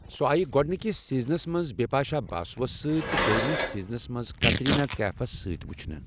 سۄ آیہِ گۄڈنِکِس سیٖزنَس منٛز بپاشا باسوَس سۭتۍ تہٕ دوٚیمِس سیٖزنَس منٛز کترینہ کیفَس سۭتۍ وچھنہٕ۔